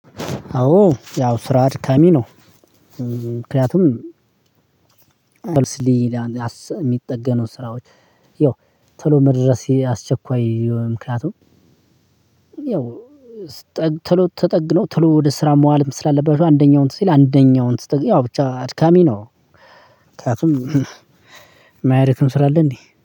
አዎ ያው ስራ አድካሚ ነው። ምክንያቱም እሚጠገኑ ስራዎች ያው ቶሎ መድረስ ያስቸኳይ ያው ቶሎ ተጠግነው ቶሎ ወደ ስራ መዋልም ስላለባቸው አንደኛው እንትን ሲል አንደኛው ያው ብቻ አድካሚ ነው። ምክንያቱም የማያደክም ስራ አለ እንዴ